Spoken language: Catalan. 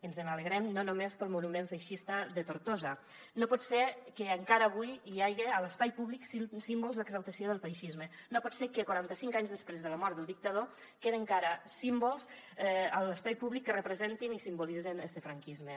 ens n’alegrem no només pel monument feixista de tortosa no pot ser que encara avui hi haja a l’espai públic símbols d’exaltació del feixisme no pot ser que quaranta cinc anys després de la mort del dictador queden encara símbols a l’espai públic que representen i simbolitzen este franquisme